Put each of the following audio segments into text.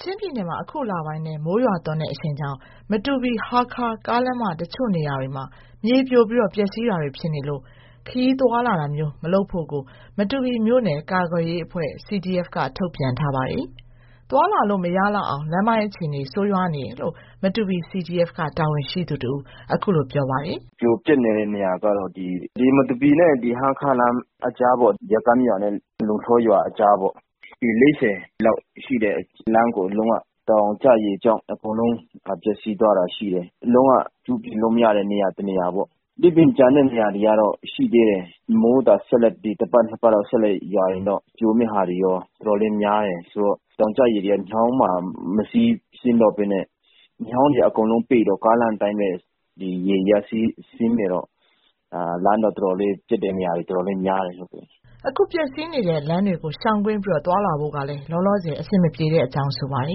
ချင်းပြည်နယ်မှာ အခုလပိုင်းထဲ မိုးရွာသွန်းတဲ့ အရှိန်ကြောင့် မတူပီ-ဟားခါး ကားလမ်းမ တချို့နေရာတွေမှာ မြေပြိုပြီး ပျက်စီးတာတွေ ဖြစ်နေလို့ ခရီးသွားလာတာမျိုး မလုပ်ဖို့ကို မတူပီမြို့နယ် ကာကွယ်ရေးအဖွဲ့ က ထုတ်ပြန်ထားပါတယ်။ သွားလာလို့ မရလောက်အောင် လမ်းပိုင်းအခြေအနေ ဆိုးရွားနေတယ်လို့ မတူပီ CDF တာဝန်ရှိသူ တဦးက အခုလို ပြောပါတယ်။ "ပြိုပျက်နေတဲ့ နေရာကတော့ မတူပီနဲ့ ဟားခါးလမ်း အကြားပေါ့။ ဇကမ်းရွာနဲ့ လုံလှော်ရွာ အကြားပေါ့။ ပေ ၄၀ လောက်ရှိတဲ့လမ်းကို တောင်ကျရေကြောင့် အကုန်လုံး ပျက်စီးသွားတာရှိတယ်။ လုံးဝ ပြုပြင်လို့မရတဲ့ နေရာ တနေရာပေါ့။ ဒီပြင် ကျန်တဲ့နေရာတွေကတော့ ရှိသေးတယ်။ မိုးသာ တပတ်၊ နှစ်ပတ်လောက် ဆက်ရွာရင်တော့ ပြိုမယ့်ဟာတွေ တော်တော်လေးများတယ်။ ဆိုတော့ တောင်ကျရေတွေက မြောင်းမှာ မစီးဆင်းတော့ဘဲနဲ့ မြောင်းတွေ အကုန်လုံးပိတ်တော့ ကားလမ်းအတိုင်းပဲ ရေတွေက စီးဆင်းနေတော့ လမ်းက ပျက်တဲ့နေရာတွေ တော်တော်လေးများတယ်။" အခုပျက်စီးနေတဲ့ လမ်းတွေကို ရှောင်ကွင်းပြီး သွားလာဖို့ကလည်း လောလောဆယ် အဆင်မပြေတဲ့အကြောင်း ပြောပါတ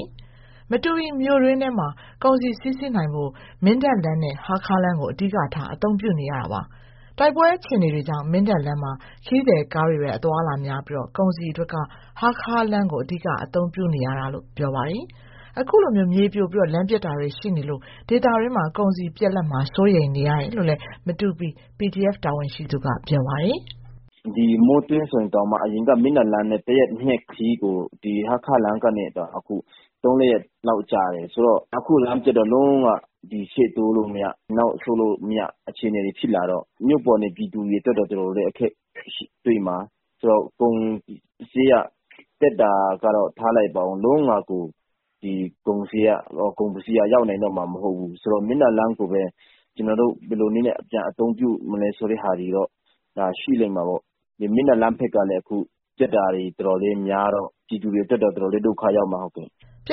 ယ်။ မတူပီမြို့တွင်းထဲ ကုန်စည်စီးဆင်းနိုင်ဖို့က မင်းတပ်လမ်းနဲ့ ဟားခါးလမ်းကို အဓိကထား အသုံးပြုနေရတာပါ။ တိုက်ပွဲ အခြေအနေတွေကြောင့် မင်းတပ်လမ်းမှာ ခရီးသည်ကားတွေပဲ အသွားအလာများပြီး၊ ကုန်စည်အတွက်က ဟားခါးလမ်းကို အဓိက အသုံးပြုနေရတာလို့ ပြောပါတယ်။ အခုလို မြေပြိုပြီး၊ လမ်းပျက်တာတွေ ရှိနေလို့ ဒေသတွင်း ကုန်စည်ပြတ်လပ်မှာကို စိုးရိမ်ရတယ်လို့ မတူပီ CDF တာဝန်ရှိသူက ပြောပါတယ်။ "မိုးတွင်းဆိုရင် အရင်က မင်းတပ်လမ်းနဲ့ ၁ ရက် ၂ရက် ခရီးကို အခု ဟားခါးလမ်းကနေ ၃-၄ ရက်လောက် ကြာတယ်။ အခု လမ်းပျက်တော့ ရှေ့တိုးမရ၊ နောက်ဆုတ်မရ အခြေအနေတွေ ဖြစ်လာတော့ မြို့ပေါ်နေ ပြည်သူတွေအတွက်က တော်တော်လေး အခက်တွေ့မှာ။ ကုန်စျေးနှုန်းက တက်တာကတော့ ထားလိုက်ပါဦး။ အခုက ကုန်ပစ္စည်းက လုံးဝကို ရောက်နိုင်တော့မှာ မဟုတ်ဘူးဆိုတော့ မင်းတပ်လမ်းကိုပဲ ကျနော်တို့ ဘယ်လိုနည်းနဲ့ ပြန်အသုံးပြုမလဲ ဆိုတာတော့ ရှိလိမ့်မှာပေါ့။ မင်းတပ်လမ်းဘက်ကလည်း အခုပျက်တာတွေ တော်တော်လေးများတော့ ပြည်သူတွေအတွက်က တော်တော်လေး ဒုက္ခရောက်မှာ။" ပျ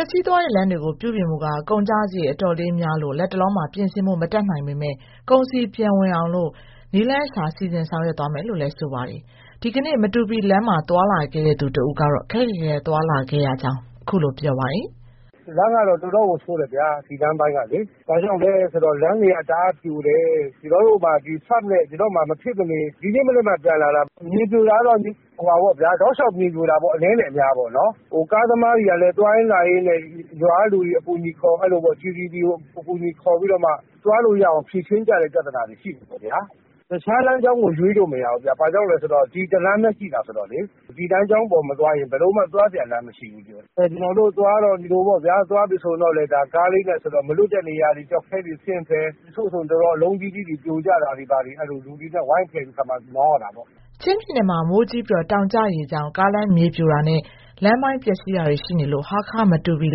က်စီးသွားတဲ့ လမ်းတွေကို ပြုပြင်ဖို့က ကုန်ကျစရိတ် အတော်လေးများလို့ လတ်တလောမှာ ပြင်ဆင်ဖို့ မတတ်နိုင်ပေမဲ့ ကုန်စည် ပြန်ဝင်နိုင်အောင် နည်းလမ်းရှာ စီစဉ်ဆောင်ရွက်သွားမယ်လို့လည်း ပြောပါတယ်။ ဒီကနေ့ မတူပီလမ်းမှာ သွားလာခဲ့သူ တဦးကတော့ ခက်ခက်ခဲခဲ သွားလာခဲ့ရတယ်လို့ ပြောပါတယ်။ "လမ်းကတော့ တော်တော်ကို ဆိုးတယ်ဗျာ၊ ဒီလမ်းပိုင်းကလေ။ ဘာကြောင့်လဲဆိုတော့ လမ်းတွေက တအားပြိုတယ်။ ကျနော်တို့ဆို မဖြစ်မနေသွားရတော့ ဒီနေ့မနက်မှ ပြန်လာတာ။ မြေပြိုတာကတော့ အနည်းနဲ့အများ တောက်လျှောက်ပြိုတာ။ ကားသမားတွေကလည်း သွားလာရင်းနဲ့ ရွာကလူတွေ အကူအညီခေါ်ပြီး သွားလို့ရအောင် ဖြေရှင်းကြရတဲ့ ပြဿနာတွေ ရှိတယ်ပေါ့ဗျာ။ တခြားလမ်းကြောင်းကို ရွေးလို့မရဘူးဗျ။ ဘာကြောင့်လဲဆိုတော့ ဒီတလမ်းပဲရှိတာ ဆိုတော့လေ။ ဒီလမ်းကြောင်းပေါ် မသွားရင် ဘယ်လိုမှ သွားစရာလမ်း မရှိဘူး။ ကျနော်တို့ သွားတုန်းက မလွတ်တဲ့နေရာတွေ ကျောက်ခဲတွေဆင်းဖယ်၊ တချို့ဆို ကျောက်ခဲအလုံးကြီးကြီး ပြိုကျတာတွေကို လူတွေနဲ့ ဝိုင်းဖယ်ပြီးခါမှ မောင်းရတာပေါ့။" ချင်းပြည်နယ်မှာ မိုးကြီးပြီး တောင်ကျရေကြောင့် ကားလမ်းမြေပြိုတာနဲ့ လမ်းပိုင်းပျက်စီးတာတွေ ရှိနေလို့ ဟားခါး-မတူပီ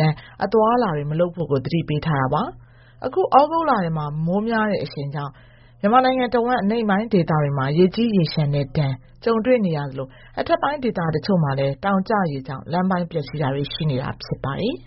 လမ်း အသွားအလာတွေ မလုပ်ဖို့ကို သတိပေးထားတာပါ။ အခု ဩဂုတ်လထဲ မိုးများတဲ့ အရှိန်ကြောင့် မြန်မာနိုင်ငံတဝန်း အနိမ့်ပိုင်းဒေသတွေမှာ ရေကြီးရေလျှံတဲ့ဒဏ် ကြုံတွေ့နေရသလို၊ အထက်ပိုင်းဒေသ တချို့မှာလည်း တောင်ကျရေကြောင့် လမ်းပိုင်းပျက်စီးတာတွေ ရှိနေတာ ဖြစ်ပါတယ်။